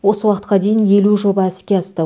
осы уақытқа дейін елу жоба іске асты